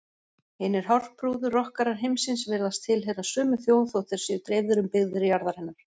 Hinir hárprúðu rokkarar heimsins virðast tilheyra sömu þjóð þótt þeir séu dreifðir um byggðir jarðarinnar.